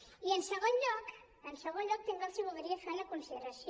i en segon lloc també els voldria fer una consideració